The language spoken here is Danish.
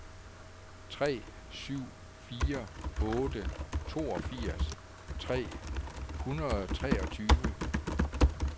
tre syv fire otte toogfirs tre hundrede og treogtyve